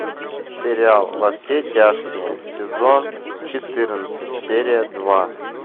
сериал во все тяжкие сезон четырнадцать серия два